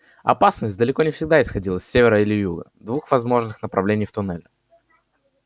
опасность далеко не всегда исходила с севера или юга двух возможных направлений в туннеле